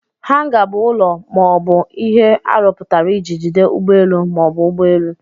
Hanga bụ ụlọ ma ọ bụ ihe arụpụtara iji jide ụgbọelu ma ọ bụ ụgbọelu.